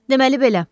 Deməli belə.